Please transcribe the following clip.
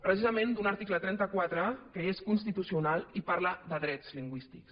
precisament d’un article trenta quatre que és constitucional i parla de drets lingüístics